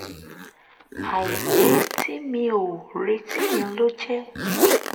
àìpé tí mi ò retí yẹn ló jẹ́